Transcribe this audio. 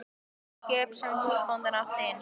Skip sem húsbóndinn átti einu sinni.